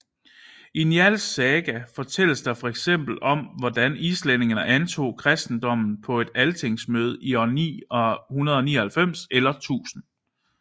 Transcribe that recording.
I Njálls saga fortælles der fx om hvordan islændingene antog kristendommen på et Altingsmøde i år 999 eller 1000